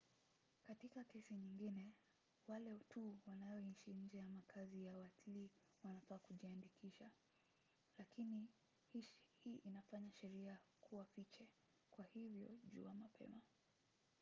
katika kesi nyingine wale tu wanoishi nje ya makazi ya watlii wanafaa kujiandikisha. lakini hii inafanya sheria kuwa fiche kwa hivyo jua mapema